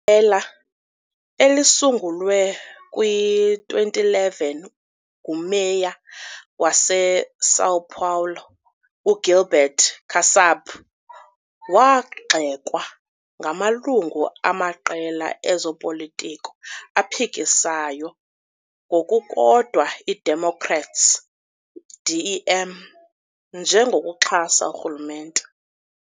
Iqela, elisungulwe kwi-2011 nguMeya waseSão Paulo uGilberto Kassab, wagxekwa ngamalungu amaqela ezopolitiko aphikisayo, ngokukodwa i-Democrats, DEM, njengokuxhasa urhulumente.